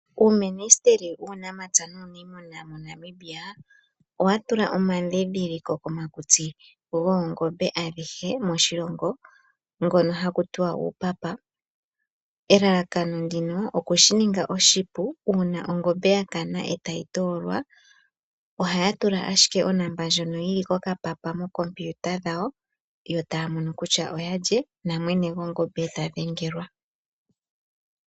Uuministeli wuunamapya nuuniimuna moNamibia owa tula omandhindhiliko komakutsi goongombe adhihe moshilongo ngono haku tiwa uupapa. Elalakano ndino oku shininga oshipu uuna ongombe ya kana etayi toolwa, ohaya tula ashike onomola ndjono yili ko kapapa mookompiuta dhawo, yo taya mono kutya oyalye, namwene gongombe eta dhengelwa.